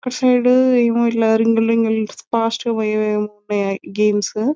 ఒక సైడ్ ఏమో రింగులు రింగులు ఫాస్ట్ గా పోయేవే ఓ ఉన్నాయి గేమ్స్.